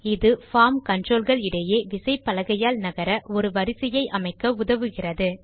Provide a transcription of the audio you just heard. இது form control கள் இடையே விசைப்பலகையால் நகர ஒரு வரிசையை அமைக்க உதவுகிறது